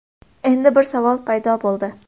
Endi bir savol paydo bo‘ldi:.